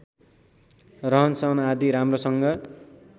रहनसहन आदि राम्रोसँग